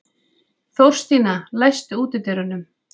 Þórstína, læstu útidyrunum.